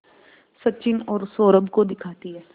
सचिन और सौरभ को दिखाती है